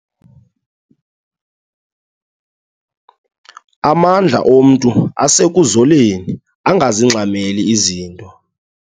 Amandla omntu asekuzoleni angazingxameli izinto.